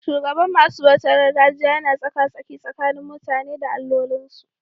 Shugaban masu bautar gargajiya yana tsaka-tsaki tsakanin mutane da allolinsu.